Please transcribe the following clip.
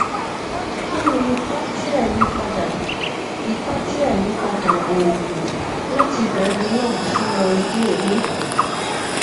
kí ni ipa tí ayipada ipa tí ayipada oògùn láti brevinor sí noriday ní